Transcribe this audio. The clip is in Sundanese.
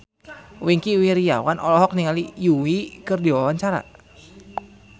Wingky Wiryawan olohok ningali Yui keur diwawancara